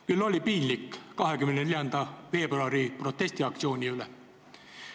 Küll oli piinlik 24. veebruari protestiaktsiooni pärast!